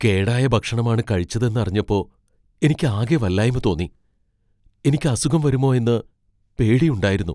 കേടായ ഭക്ഷണമാണ് കഴിച്ചതെന്ന് അറിഞ്ഞപ്പോ എനിക്ക് ആകെ വല്ലായ്മ തോന്നി. എനിക്ക് അസുഖം വരുമോ എന്ന് പേടിയുണ്ടായിരുന്നു.